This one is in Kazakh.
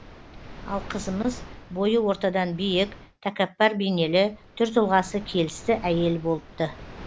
ал қызымыз бойы ортадан биік тәкаппар бейнелі түр тұлғасы келісті әйел болыпты